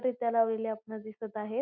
रित्या लावलेले आपणास दिसत आहेत.